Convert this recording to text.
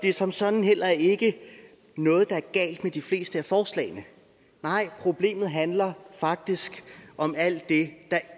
er som sådan heller ikke noget galt med de fleste forslag nej problemet handler faktisk om alt det der